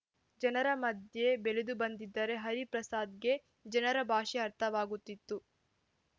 ಜನರ ಮಧ್ಯೆ ಬೆಳೆದುಬಂದಿದ್ದರೆ ಹರಿಪ್ರಸಾದ್‌ಗೆ ಜನರ ಭಾಷೆ ಅರ್ಥವಾಗುತ್ತಿತ್ತು